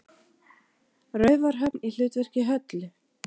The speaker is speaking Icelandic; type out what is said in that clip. Raufarhöfn í hlutverki Höllu.